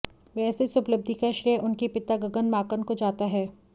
वैसे इस उपलब्धि का श्रेय उनके पिता गगन माकन को जाता है